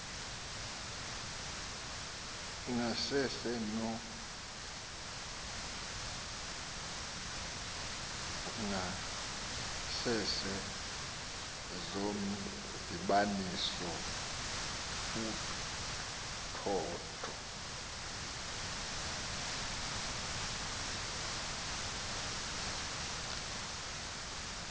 zangasese zomdibaniso uthotho